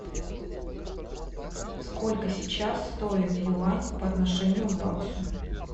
сколько сейчас стоит юань по отношению к баксу